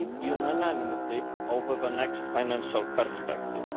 we need unanimity on the next financial perspective.